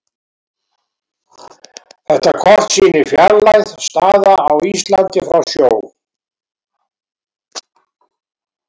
Þetta kort sýnir fjarlægð staða á Íslandi frá sjó.